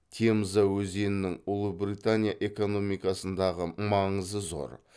темза өзеннің ұлыбритания экономикасындағы маңызы зор